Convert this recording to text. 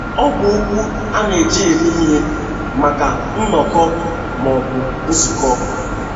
Ọ bụ okwu a na - eji eme ihe maka nnọkọ ma ọ bụ nzukọ.